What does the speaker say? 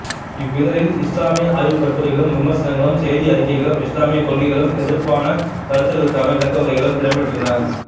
இவ்விதழில் இசுலாமிய ஆய்வுக் கட்டுரைகளும் விமர்சனங்களும் செய்தி அறிக்கைகளும் இசுலாமிய கொள்கைகளுக்கு எதிர்ப்பான கருத்துகளுக்கான விளக்கவுரைகளும் இடம்பெற்றிருந்தன